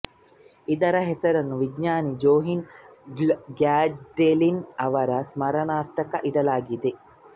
ಇದರ ಹೆಸರನ್ನು ವಿಜ್ಞಾನಿ ಜೊಹನ್ ಗ್ಯಾಡೊಲಿನ್ ಅವರ ಸ್ಮರಣಾರ್ಥ ಇಡಲಾಗಿದೆ